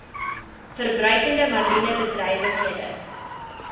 verbruikende mariene bedrywighede